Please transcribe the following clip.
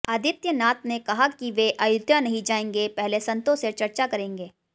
आदित्यनात ने कहा कि वे अयोध्या नहीं जाएंगे पहले संतो से चर्चा करेंगे